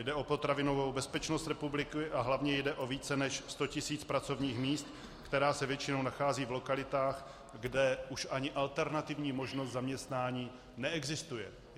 Jde o potravinovou bezpečnost republiky a hlavně jde o více než 100 tis. pracovních míst, která se většinou nacházejí v lokalitách, kde už ani alternativní možnost zaměstnání neexistuje.